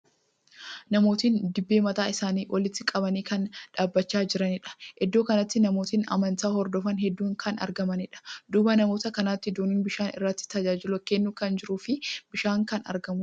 Namootni dibaabee mataa isaanii olitti qabanii kan dhaabbachaa jiraniidha. Iddoo kanatti namootni amantaa hordofan hedduun kan argamaniidha. Duuba namoota kanaatti doonin bishaan irratti tajaajila kennu kan jiruu fi bishaan kan argamuudha.